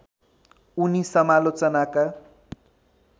उनी समालोचनाका